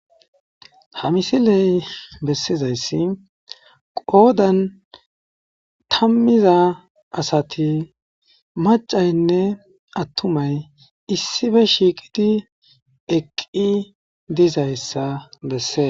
Ha misiley bessizayssi qoodan tammiza asati maccaynne attumay issipe shiiqi eqqi dizayssa besses.